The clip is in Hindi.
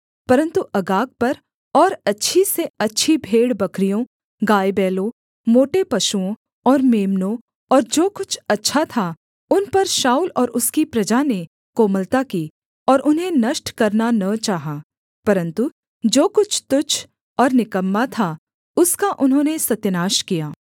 परन्तु अगाग पर और अच्छी से अच्छी भेड़बकरियों गायबैलों मोटे पशुओं और मेम्नों और जो कुछ अच्छा था उन पर शाऊल और उसकी प्रजा ने कोमलता की और उन्हें नष्ट करना न चाहा परन्तु जो कुछ तुच्छ और निकम्मा था उसका उन्होंने सत्यानाश किया